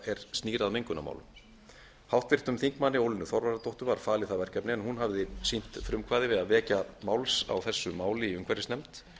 er snýr að mengunarmálum háttvirtur þingmaður ólínu þorvarðardóttur á falið það verkefni en hún hafði sýnt frumkvæði við að vekja máls á þessu máli í umhverfisnefnd